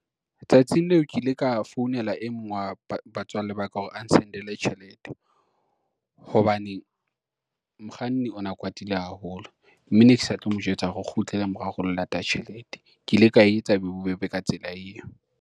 Tsatsing leo ke ile ka founela e mong wa batswalle ba ka hore a n-send-ele tjhelete, hobane mokganni ona kwatile haholo, mme ne ke sa tlo mo jwetsa hore o kgutlele morao re lo lata tjhelete. Ke ile ka etsa e be bobebe ka tsela eo.